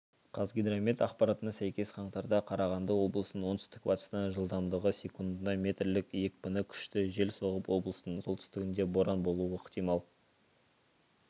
қазгидромет ақпаратына сәйкес қаңтарда қарағанды облысында оңтүстік-батыстан жылдамдығы секундына метрлік екпіні күшті жел соғып облыстың солтүстігінде боран болуы ықтимал